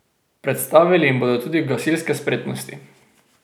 Predstavili jim bodo tudi gasilske spretnosti.